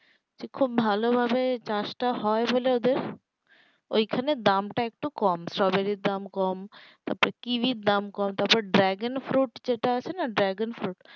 খুব ভালো ভাবে চাষটা হয় বলে ওদের ঐখানে দামটা একটু কম strawberry এর দামটা কম তারপর kiwi ইর দাম কম তারপরে dragon fruit যেটা আছে না dragon fruit